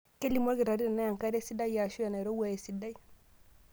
Kelimu olkitarri tenaa enkare sidai aashu enairowua esidai.